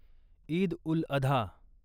Eid ul Adha